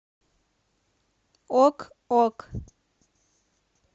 ок ок